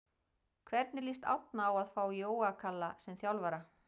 Hvernig lýst Árna á að fá Jóa Kalla sem þjálfara?